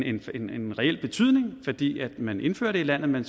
reel betydning fordi man indfører det i landet men